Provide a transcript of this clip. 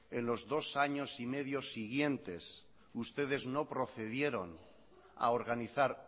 en los dos años y medio siguientes ustedes no procedieron a organizar